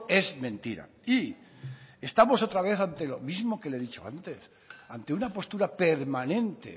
es mentira y estamos otra vez ante lo mismo que le he dicho antes ante una postura permanente